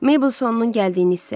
Meybl sonunun gəldiyini hiss elədi.